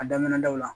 A daminɛna daw la